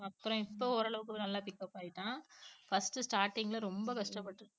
அப்புறம் இப்ப ஓரளவுக்கு நல்லா pick up ஆயிட்டான் first starting ல ரொம்ப கஷ்டப்பட்டுச்சுங்க